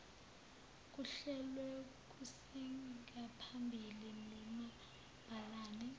kuhlelwe kusengaphambili nomabhalane